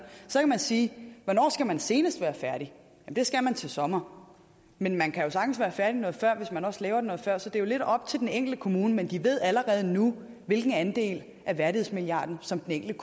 så kan man sige hvornår skal man senest være færdig det skal man til sommer men man kan sagtens være færdig noget før hvis man også laver det noget før så det er jo lidt op til den enkelte kommune men den ved allerede nu hvilken andel af værdighedsmilliarden som den